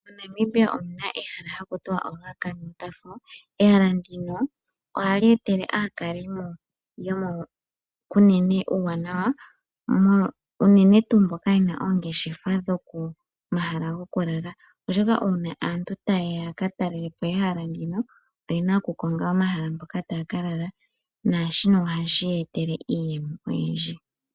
MoNamibia omu na ehala hali ithanwa egwo lyomeya lyaRuacana. Ehala ndino ohali etele aakalimo yomoKunene uuwanawa, unene tuu mboka ye na oongeshefa dhomahala gokulala, oshoka uuna aantu taya ka talele po ehala ndino oye na okukonga omahala mpoka taya ka lala naashino ohashi ya etele iiyemo oyindji.